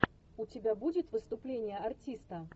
у тебя будет выступление артиста